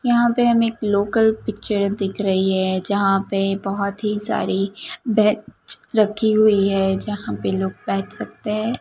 यहां पे हमे एक लोकल पिक्चर दिख रही है जहां पे बहोत ही सारी बेंच रखी हुई है जहां पे लोग बैठ सकते--